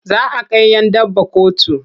Za a kai 'yan daba kotu.